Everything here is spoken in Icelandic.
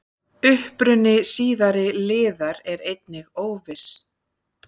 Uppruni síðari liðar er einnig óviss.